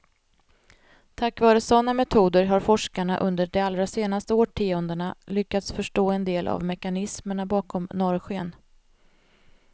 Tack vare sådana metoder har forskarna under de allra senaste årtiondena lyckats förstå en del av mekanismerna bakom norrsken.